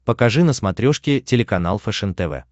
покажи на смотрешке телеканал фэшен тв